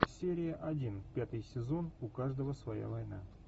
серия один пятый сезон у каждого своя война